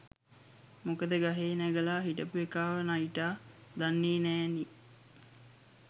මොකද ගහේ නැගලා හිටපු එකාව නයිටා දන්නේ නෑනේ